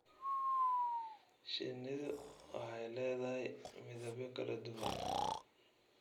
Shinnidu waxay leedahay midabyo kala duwan.